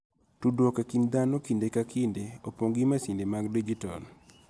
Tudruok e kind dhano kinde ka kinde opong' gi masinde mag dijitol